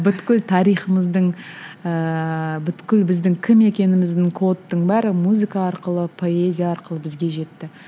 тарихымыздың ыыы біздің кім екеніміздің кодтың бәрі музыка арқылы поэзия арқылы бізге жетті